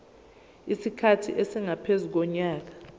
isikhathi esingaphezu konyaka